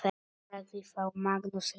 Sagði þá Magnús ríki: